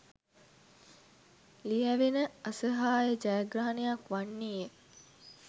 ලියැවෙන අසහාය ජයග්‍රහණයක් වන්නේය